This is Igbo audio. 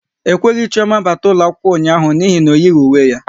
E kweghị Chioma bata ụlọ akwụkwọ ụnyaahụ n'ihi na o yighi uwe ya